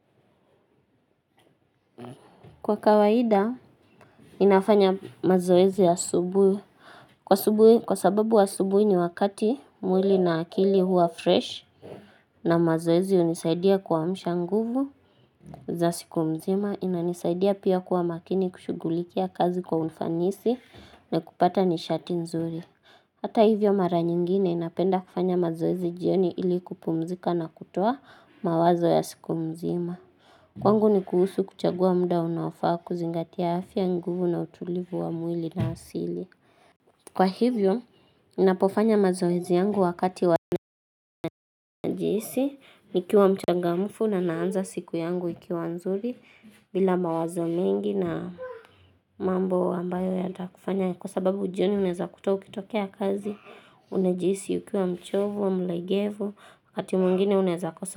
Kwa kawaida ninafanya mazoezi ya asubuhi Kwa sababu wa asubuhi ni wakati mwili na akili huwa fresh na mazoezi hunisaidia kuamsha nguvu za siku mzima inanisaidia pia kuwa makini kushuggulikia kazi kwa ufanisi na kupata nishati nzuri Hata hivyo mara nyingine napenda kufanya mazoezi jioni ili kupumzika na kutoa mawazo ya siku mzima Kwangu ni kuhusu kuchagua mda unaofaa kuzingatia afya nguvu na utulivu wa mwili na asili. Kwa hivyo, ninapofanya mazoezi yangu wakati huwa najihisi, nikiwa mchangamfu na naanza siku yangu ikiwa nzuri, bila mawazo mingi na mambo ambayo yatakufanya, kwa sababu jioni unaeza kuta ukitokea kazi, unajihisi ukiwa mchovu, mlegevu, wakati mwingine unaweza kosa.